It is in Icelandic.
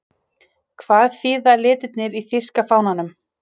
Hvað þýða litirnir í þýska fánanum?